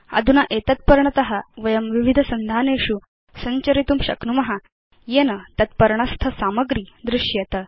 अधुना एतत् पर्णत वयं विविध सन्धानेषु संचरितुं शक्नुम येन तत् पर्णस्थ सामग्री दृश्येत